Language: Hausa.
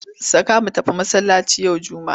Saka mu tafi masallaci yau Juma'a!